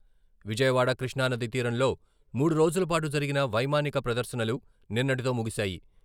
విజయవాడ కృష్ణానది తీరంలో మూడు రోజులపాటు జరిగిన వైమానిక ప్రదర్శనలు నిన్నటితో ముగిశాయి.